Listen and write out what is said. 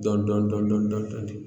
Dɔɔnin dɔɔnin dɔɔnin dɔɔnin